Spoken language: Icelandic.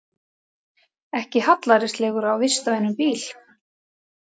Ekki hallærislegur á vistvænum bíl